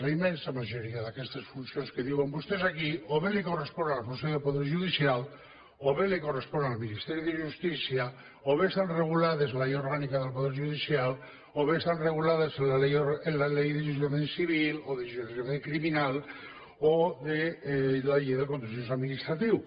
la immensa majoria d’aquestes funcions que diuen vostès aquí o bé correspon al consell del poder judicial o bé correspon al ministeri de justícia o bé estan regulades a la llei orgànica del poder judicial o bé estan regulades en la llei d’enjudiciament civil o d’enjudiciament criminal o la llei del contenciós administratiu